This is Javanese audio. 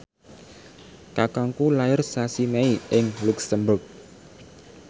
kakangku lair sasi Mei ing luxemburg